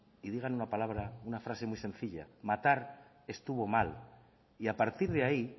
y digan una palabra una frase muy sencilla matar estuvo mal y a partir de ahí